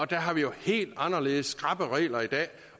der har vi jo helt anderledes skrappe regler i dag